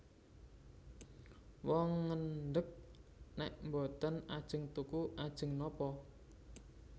Wong ngendheg nèk boten ajeng tuku ajeng napa